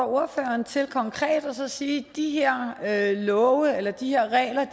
ordføreren til konkret at sige de her love eller de her regler